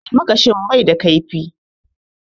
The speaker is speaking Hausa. Almakashin ba kaifi